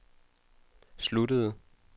sluttede